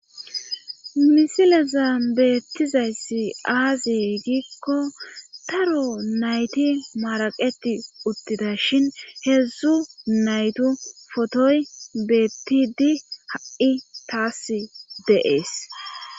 misile zaa beettizayssi aazee giikko taro nayti maraqeti uttida shin heedzdzu naytu fotoy beettidi ha7i taas deees